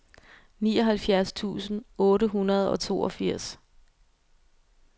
nioghalvfjerds tusind otte hundrede og toogfirs